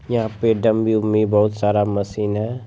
यहां पे डमी उम्मी बहुत सारा मशीन है।